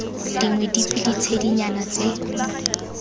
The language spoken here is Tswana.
dingwe dife kana ditshedinyana tse